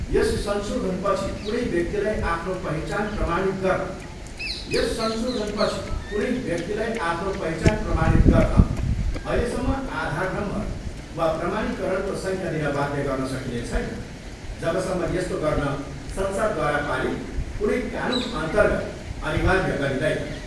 यस संशोधनपछि कुनै व्यक्तिलाई आफ्नो पहिचान प्रमाणित गर्न अहिलेसम्म आधार नम्बर वा प्रमाणीकरणको सङ्ख्या दिन बाध्य गर्न सकिने छैन, जबसम्म यस्तो गर्न संसदद्वारा पारित कुनै कानुनअर्न्तगत अनिर्वाय गरिँदैन।